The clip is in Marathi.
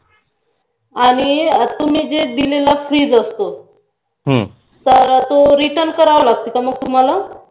आणि तुम्ही जो दिलेला fridge असतो तो return करावा लागतो का तुम्हाला